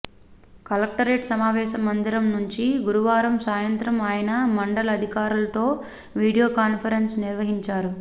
collectorate సమావేశ మందిరం నుంచి గురువారం సాయంత్రం ఆయన మండల అధికారులతో వీడియో కాన్ఫ రెన్స్ నిర్వహించారు